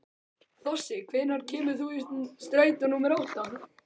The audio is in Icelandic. Þossi, hvenær kemur strætó númer átta?